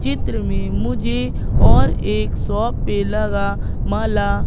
चित्र में मुझे और एक शॉप पे लगा माला--